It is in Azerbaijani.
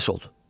Pis oldu.